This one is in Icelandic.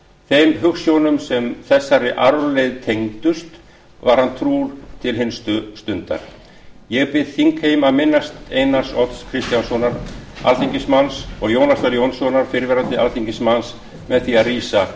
þeim hugsjónum sem þessari arfleifð tengdust var hann trúr til hinstu stundar ég bið þingheim að minnast einars odds kristjánssonar alþingismanns og jónasar jónssonar fyrrverandi alþingismanns með því að rísa